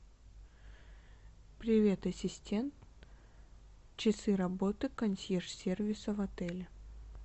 привет ассистент часы работы консьерж сервиса в отеле